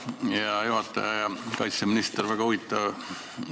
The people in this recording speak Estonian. Hea juhataja ja kaitseminister!